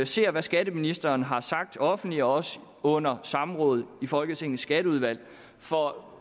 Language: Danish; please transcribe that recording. ser hvad skatteministeren har sagt offentligt og også under samrådet i folketingets skatteudvalg for